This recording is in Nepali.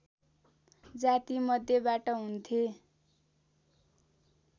जाति मध्येबाट हुन्थे